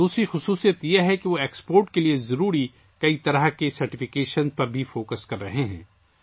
دوسری خصوصیت یہ ہے کہ وہ برآمدات کے لیے ضروری مختلف سرٹیفیکیشنز پر بھی توجہ دے رہے ہیں